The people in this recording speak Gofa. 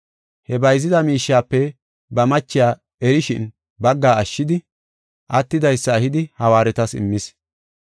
He bayzida miishiyape ba machiya erishin bagga ashshidi, attidaysa ehidi hawaaretas immis.